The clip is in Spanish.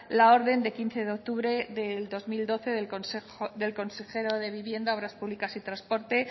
la orden de quince de octubre de dos mil doce del consejero de vivienda obras públicas y transporte